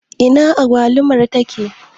Ina agwalumar take?